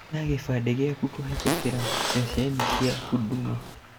Oya kĩbandĩ gĩaku kũhĩtũkĩra ceceni cia huduma.